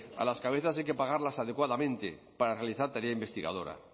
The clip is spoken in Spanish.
a las cabezas hay que pagarlas adecuadamente para realizar tarea investigadora